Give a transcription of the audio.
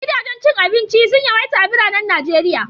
Gidajen cin abinci sun yawaita a biranen Najeriya.